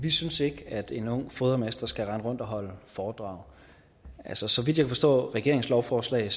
vi synes ikke at en ung fodermester skal rende rundt og holde foredrag så så vidt jeg forstår regeringens lovforslag